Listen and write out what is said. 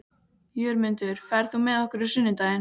Jörmundur, ferð þú með okkur á sunnudaginn?